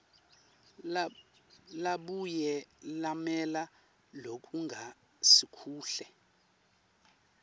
labuye lamela lokungasikuhle